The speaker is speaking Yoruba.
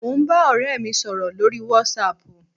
Mo ń bá ọ̀rẹ́ mi sọ̀rọ̀ lórí whatsapp.